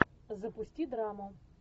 запусти драму